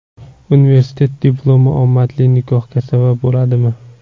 Universitet diplomi omadli nikohga sabab bo‘ladimi?